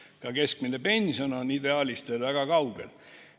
Ka keskmine pension on ideaalist veel väga kaugel.